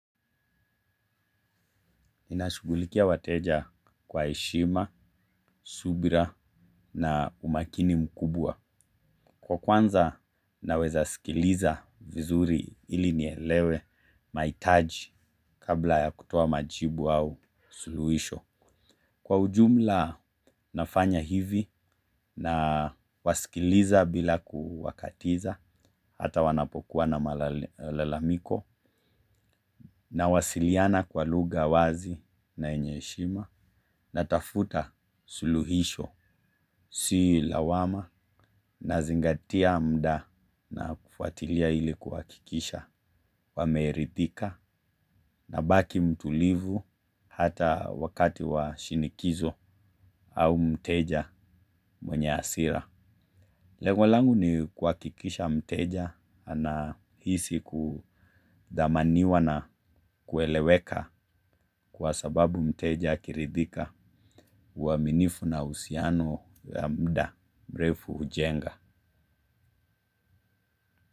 Ninashughulikia wateja kwa heshima, subira na umakini mkubwa. Kwa kuanza naweza sikiliza vizuri ili nielewe mahitaji kabla ya kutoa majibu au suluhisho. Kwa ujumla nafanya hivi nawasikiliza bila kuwakatiza hata wanapokuwa na malalamiko, nawasiliana kwa lugha wazi na yenye heshima, natafuta suluhisho si lawama nazingatia muda na kufuatilia ili kuhakikisha wameridhika nabaki mtulivu hata wakati wa shinikizo au mteja mwenye hasira. Lengo langu ni kuhakikisha mteja anahisi kuthamaniwa na kueleweka kwa sababu mteja akiridhika uaminifu na uhusiano ya muda mrefu hujenga.